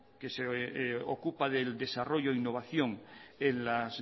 que se ocupa del desarrollo e innovación en las